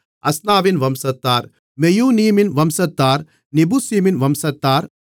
அஸ்னாவின் வம்சத்தார் மெயூனீமின் வம்சத்தார் நெபுசீமின் வம்சத்தார்